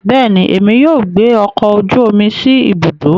Bẹẹni, Èmi yóò gbé ọkọ ojú omí sí ibùdó